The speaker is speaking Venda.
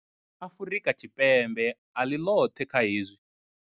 Afrika Tshipembe a ḽi ḽoṱhe kha hezwi.